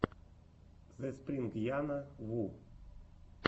зэспрингяна ву